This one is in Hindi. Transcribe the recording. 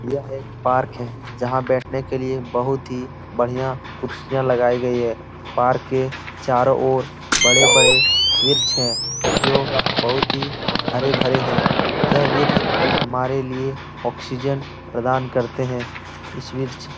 यह एक पार्क है जहाँ बेठने के लिए बहोत ही बढिया कुर्सियां लगाई गयी हैं। पार्क के चारों ओर बड़े-बड़े विर्छ हैं जो बहोत ही हरे-भरे हैं। यह विर्छ हमारे लिए ऑक्सीजन प्रदान करते हैं। इस वृक्ष --